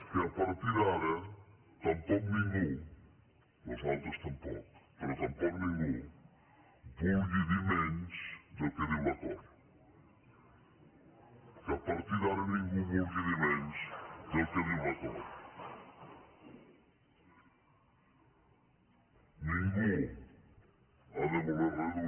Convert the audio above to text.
que a partir d’ara tampoc ningú nosaltres tampoc però tampoc ningú vulgui dir menys del que diu l’acord que a partir d’ara ningú vulgui dir menys del que diu l’acord